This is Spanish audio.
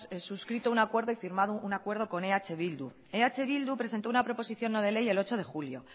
suscrito un acuerdo y firmado un acuerdo con eh bildu eh bildu presentó una preposición no de ley el ocho de julio